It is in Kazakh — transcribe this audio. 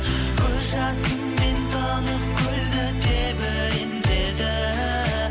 көз жасымен тынық көлді тебірентеді